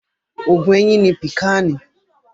Oògun eyín ni Pìkáànì.